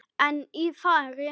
En í fari